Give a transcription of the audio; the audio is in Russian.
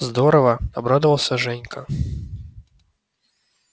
здорово обрадовался женька